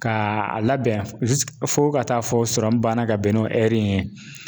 Ka a labɛn fo ka taa fɔ banna ka bɛn n'o ye